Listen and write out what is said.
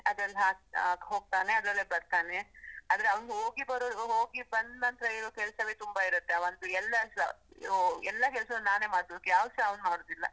ಅದ್ರಲ್ ಹಾಗ್ ಹೋಗ್ತಾನೆ, ಅದ್ರಲ್ಲೇ ಬರ್ತಾನೆ, ಆದ್ರೆ ಅವ್ನುಂದು ಹೋಗಿ ಬರುದು, ಹೋಗಿ ಬಂದ್ನನ್ತ್ರ ಇರೋ ಕೆಲಸವೇ ತುಂಬ ಇರುತ್ತೆ ಅವನ್ದು, ಎಲ್ಲಸ ಎಲ್ಲ ಕೆಲ್ಸವೂ ನಾನೇ ಮಾಡ್ಬೇಕು, ಯಾವ್ದೂಸ ಅವ್ನು ಮಾಡುದಿಲ್ಲ.